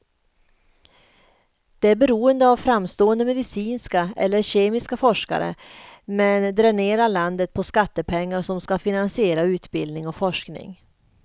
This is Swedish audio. Det är beroende av framstående medicinska eller kemiska forskare, men dränerar landet på skattepengar som ska finansiera utbildning och forskning.